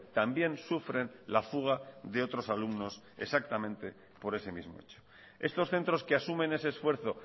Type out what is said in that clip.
también sufren la fuga de otros alumnos exactamente por ese mismo hecho estos centros que asumen ese esfuerzo